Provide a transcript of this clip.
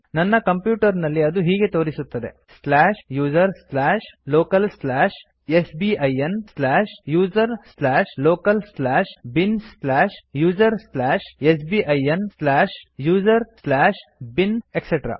ನನ್ನ ಕಂಪ್ಯೂಟರ್ ನಲ್ಲಿ ಅದು ಹೀಗೆ ತೋರಿಸುತ್ತದೆ slash user slash local slash sbin slash user slash local slash bin slash user slash sbin slash user slash bin etc